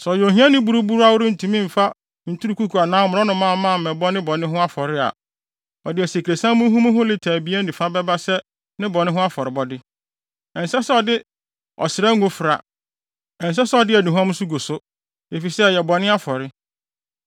“ ‘Sɛ ɔyɛ ohiani buruburoo a ɔrentumi mfa nturukuku anaa mmorɔnomamma mmɛbɔ ne bɔne ho afɔre a, ɔde asikresiam muhumuhu lita abien ne fa bɛba sɛ ne bɔne ho afɔrebɔde. Ɛnsɛ sɛ ɔde ɔsra ngo fra. Ɛnsɛ sɛ ɔde aduhuam nso gu so, efisɛ ɛyɛ bɔne afɔre.